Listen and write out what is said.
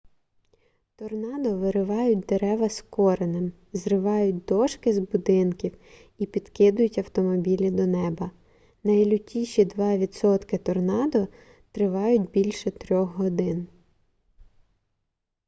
торнадо виривають дерева з коренем зривають дошки з будинків і підкидують автомобілі до неба найлютіші два відсотки торнадо тривають більше трьох годин